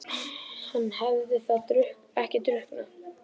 Hann hafði þá ekki drukknað?